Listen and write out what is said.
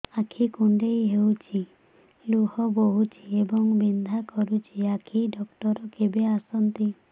ଆଖି କୁଣ୍ଡେଇ ହେଉଛି ଲୁହ ବହୁଛି ଏବଂ ବିନ୍ଧା କରୁଛି ଆଖି ଡକ୍ଟର କେବେ ଆସନ୍ତି